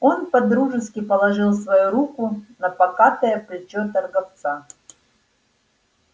он по-дружески положил свою руку на покатое плечо торговца